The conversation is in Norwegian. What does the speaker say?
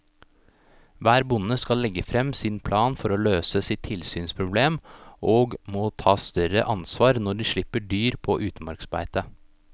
Hver bonde skal legge frem sin plan for å løse sitt tilsynsproblem og må ta større ansvar når de slipper dyr på utmarksbeite.